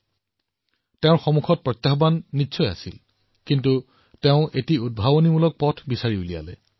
হয় তেওঁৰ সন্মুখত প্ৰত্যাহ্বান নিশ্চয়কৈ আছিল কিন্তু তেওঁ এটা উদ্ভাৱনী পথ উলিয়াই লৈছিল